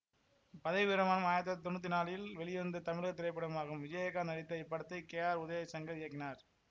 பதவி பிரமாணம் ஆயிரத்தி தொள்ளாயிரத்தி தொன்னூத்தி நாலில் வெளிவந்த தமிழக திரைப்படமாகும் விஜயகாந்த் நடித்த இப்படத்தை கே ஆர் உதயசங்கர் இயக்கினார்